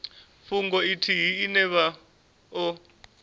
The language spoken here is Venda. fhungo ithihi ine vha o